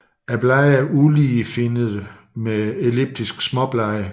Bladene er uligefinnede med elliptiske småblade